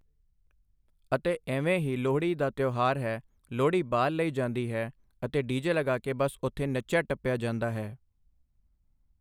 ਅਤੇ ਇਵੇਂ ਹੀ ਲੋਹੜੀ ਦਾ ਤਿਉਹਾਰ ਹੈ ਲੋਹੜੀ ਬਾਲ਼ ਲਈ ਜਾਂਦੀ ਹੈ ਅਤੇ ਡੀ ਜੇ ਲਗਾ ਕੇ ਬਸ ਉਥੇ ਨੱਚਿਆ ਟੱਪਿਆ ਜਾਂਦਾ ਹੈ